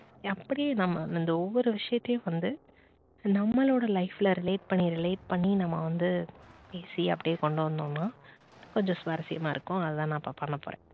அப்படியே நம்ப அந்த ஒவ்வொரு விஷயத்தையும் வந்து நம்மளோட life ல relate பண்ணி relate பண்ணி நம்ம வந்து easy யா அப்படியே கொண்டு வந்தோம்னா கொஞ்சம் சுவாரஸ்யமாக இருக்கும் அதான் நான் இப்போ பண்ண போறேன்